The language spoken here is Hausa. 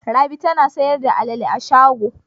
Rabi tana sayar da alale a shago.